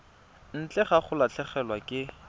ntle ga go latlhegelwa ke